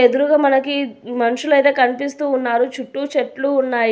ఎదురుగా మనకి మనుషులయితే కనిపిస్తూ ఉన్నారు చుట్టూ చెట్లు ఉన్నాయి.